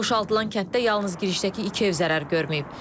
Boşaldılan kənddə yalnız girişdəki iki ev zərər görməyib.